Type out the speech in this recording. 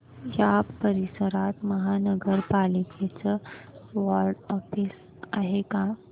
या परिसरात महानगर पालिकेचं वॉर्ड ऑफिस आहे का